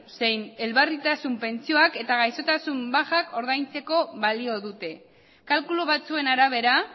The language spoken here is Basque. zein elbarritasun pentsioak eta gaixotasun bajak ordaintzeko balio dute kalkulu batzuen arabera